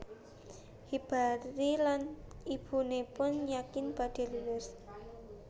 Hibari lan ibunipun yakin badhe lulus